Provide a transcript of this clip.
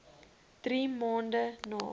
drie maande na